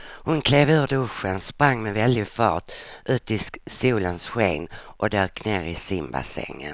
Hon klev ur duschen, sprang med väldig fart ut i solens sken och dök ner i simbassängen.